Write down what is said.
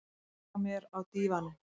Sest hjá mér á dívaninn.